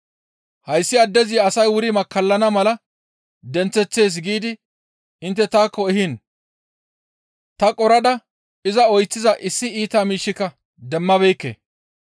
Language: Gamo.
«Hayssi addezi asay wuri makkallana mala denththeththees giidi intte taakko ehiin ta qorada iza oyththiza issi iita miishshika demmabeekke.